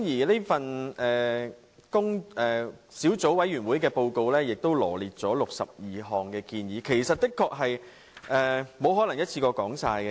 這份小組委員會報告羅列了62項建議，我的確沒有可能一下子說完。